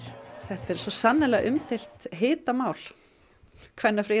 þetta er sannarlega umdeilt hitamál